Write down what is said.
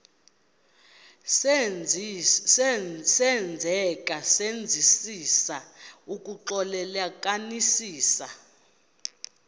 senzeka senzisisa ukuxclelanisekisisa